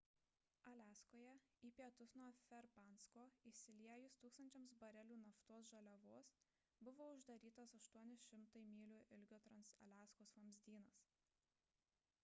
aliaskoje į pietus nuo ferbankso išsiliejus tūkstančiams barelių naftos žaliavos buvo uždarytas 800 mylių ilgio transaliaskos vamzdynas